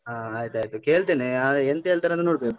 ಹಾ ಆಯ್ತಾಯ್ತು ಕೇಳ್ತೆನೆ. ಆದ್ರೆ ಎಂತ ಹೇಳ್ತರಂತ ನೋಡ್ಬೇಕು.